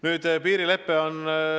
Nüüd, piirilepe.